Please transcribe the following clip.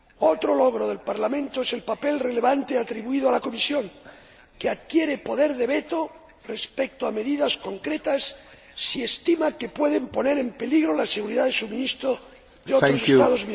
Otro logro del Parlamento es el papel relevante atribuido a la Comisión, que adquiere poder de veto respecto a medidas concretas si estima que pueden poner en peligro la seguridad del suministro de otros Estados